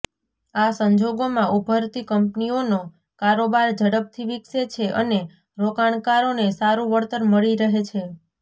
આ સંજોગોમાં ઊભરતી કંપનીઓનો કારોબાર ઝડપથી વિકસે છે અને રોકાણકારોને સારું વળતર મળી રહે છે